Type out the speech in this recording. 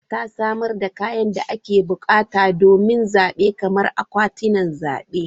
INEC ta samar da kayan da ake bukata domin zabe kamar akwatunan zabe.